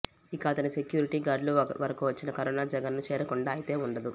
ఇక అతని సెక్యూరిటీ గార్డుల వరకు వచ్చిన కరోనా జగన్ ను చేరకుండా అయితే ఉండదు